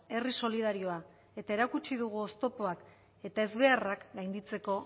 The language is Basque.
herri solidarioa eta erakutsi dugu oztopoak eta ezbeharrak gainditzeko